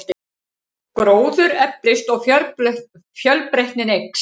Gróður eflist og fjölbreytnin eykst.